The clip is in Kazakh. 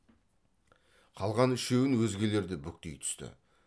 қалған үшеуін өзгелер де бүктей түсті